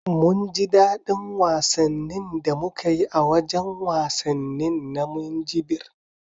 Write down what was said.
Mun ji dadi wasannin da muka yi a wajan wasannin na Minjibir